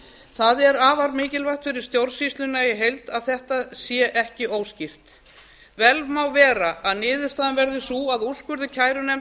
það er afar mikilvægt fyrir stjórnsýsluna í heild að þetta sé ekki óskýrt vel má vera að niðurstaðan verði sú að úrskurður